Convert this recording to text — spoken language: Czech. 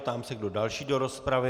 Ptám se, kdo další do rozpravy.